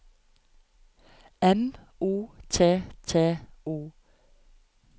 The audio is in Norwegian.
M O T T O